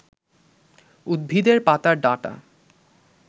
উদ্ভিদের পাতার ডাঁটা